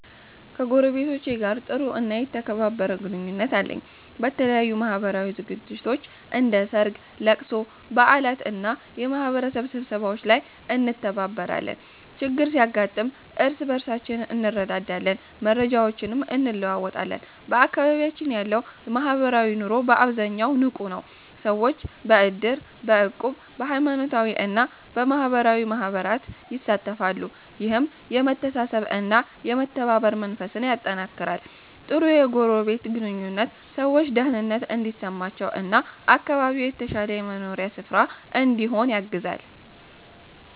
ከጎረቤቶቼ ጋር ጥሩ እና የተከባበረ ግንኙነት አለኝ። በተለያዩ ማህበራዊ ዝግጅቶች፣ እንደ ሠርግ፣ ለቅሶ፣ በዓላት እና የማህበረሰብ ስብሰባዎች ላይ እንተባበራለን። ችግር ሲያጋጥም እርስ በርሳችን እንረዳዳለን፣ መረጃዎችንም እንለዋወጣለን። በአካባቢያችን ያለው ማህበራዊ ኑሮ በአብዛኛው ንቁ ነው። ሰዎች በእድር፣ በእቁብ፣ በሃይማኖታዊ እና በማህበራዊ ማህበራት ይሳተፋሉ። ይህም የመተሳሰብ እና የመተባበር መንፈስን ያጠናክራል። ጥሩ የጎረቤት ግንኙነት ሰዎች ደህንነት እንዲሰማቸው እና አካባቢው የተሻለ የመኖሪያ ስፍራ እንዲሆን ያግዛል።